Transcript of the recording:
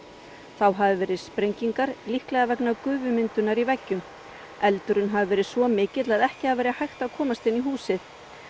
þá hafi verið sprengingar líklega vegna gufumyndunar í veggjum eldurinn hafi verið svo mikill að ekki hafi verið hægt að komast inn í húsið